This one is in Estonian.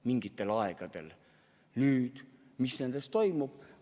Mis nendes paikades toimub?